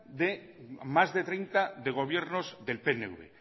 más de treinta de gobiernos de pnv